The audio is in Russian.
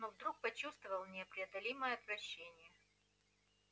но вдруг почувствовал непреодолимое отвращение